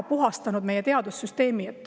– puhastanud meie teadussüsteemi.